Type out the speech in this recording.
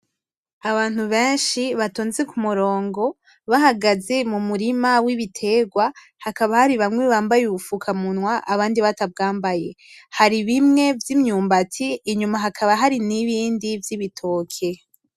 Abantu benshi batonze kumurongo, bahagaze mumurima wibiterwa , hakaba hari bamwe bambaye ubufukamunwa , abandi batabwambaye , hari bimwe vyimyumbati inyuma hakaba hari nibindi vyibitoke .